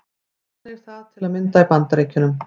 Þannig er það til að mynda í Bandaríkjunum.